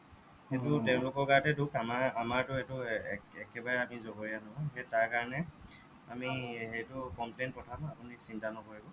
সেইটো তেওঁলোকৰ গাতহে দুখ আমাৰ আমাৰটো সেইটো একে একেবাৰে আমি যগৰীয়া নহয় সেই তাৰ কাৰণে আমি সেইটো complain পঠাম আপুনি চিন্তা নকৰিব